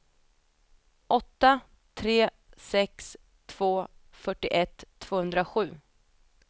åtta tre sex två fyrtioett tvåhundrasju